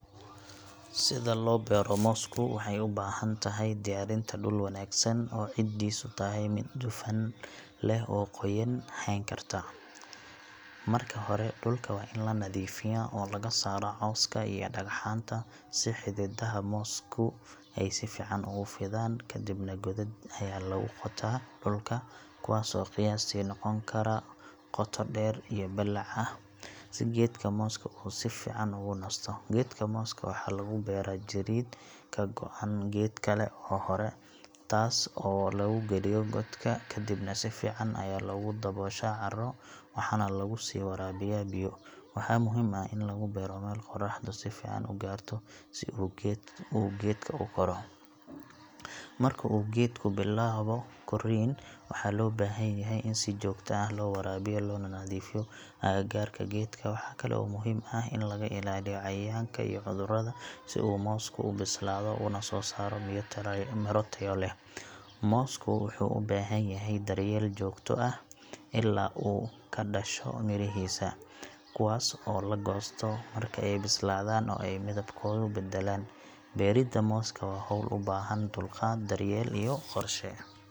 Sida loo beero moosku waxay u baahan tahay diyaarinta dhul wanaagsan oo ciiddiisu tahay mid dufan leh oo qoyaan hayn karta. Marka hore dhulka waa in la nadiifiyaa oo laga saaraa cawska iyo dhagxaanta si xididaha moosku ay si fiican ugu fidaan. Ka dibna godad ayaa lagu qotaa dhulka, kuwaas oo qiyaastii noqon kara qoto dheer iyo ballac ah, si geedka mooska uu si fiican ugu nasto. Geedka mooska waxaa laga beeraa jirrid ka go'an geed kale oo hore, taas oo lagu geliyo godka, ka dibna si fiican ayaa loogu dabooshaa carro, waxaana lagu sii waraabiyaa biyo. Waxaa muhiim ah in lagu beero meel qoraxdu si fiican u gaarto si uu geedku u koro. Marka uu geedku bilaabo korriin, waxaa loo baahan yahay in si joogto ah loo waraabiyo loona nadiifiyo agagaarka geedka. Waxaa kale oo muhiim ah in laga ilaaliyo cayayaanka iyo cudurrada, si uu moosku u bislaado una soo saaro miro tayo leh. Moosku wuxuu u baahan yahay daryeel joogto ah ilaa uu ka dhasho mirihiisa, kuwaas oo la goosto marka ay bislaadaan oo ay midabkooda beddelaan. Beerida mooska waa hawl u baahan dulqaad, daryeel iyo qorshe.